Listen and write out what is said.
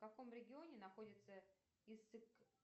в каком регионе находится